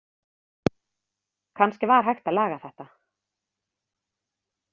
Kannski var hægt að laga þetta.